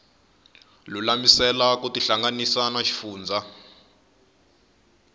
lulamisela ku tihlanganisa na xifundzha